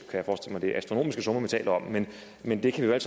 er astronomiske summer vi taler om men men det kan